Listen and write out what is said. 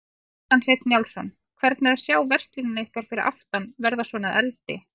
Kjartan Hreinn Njálsson: Hvernig er að sjá verslunina ykkar fyrir aftan verða svona að eldi?